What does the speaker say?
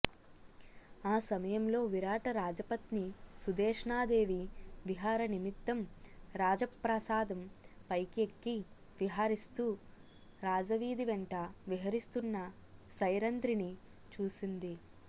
ఆ సమయంలో విరాట రాజపత్ని సుధేష్ణాదేవి విహారనిమిత్తం రాజప్రాసాదం పైకి ఎక్కి విహరిస్తూ రాజవీధి వెంట విహరిస్తున్న సైరంధ్రిని చూసింది